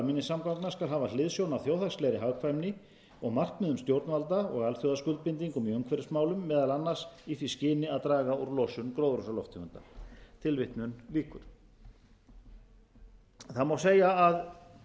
skipulag almenningssamgangna skal hafa hliðsjón af þjóðhagslegri hagkvæmni og markmiðum stjórnvalda og alþjóðaskuldbindingum í umhverfismálum meðal annars í því skyni að draga úr losun gróðurhúsalofttegunda það má segja að